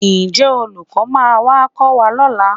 Ǹjẹ́ olùkọ́ máa wá kọ́ wa lọ́la?